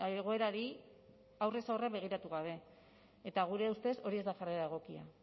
egoerari aurrez aurre begiratu gabe eta gure ustez hori ez da jarrera egokia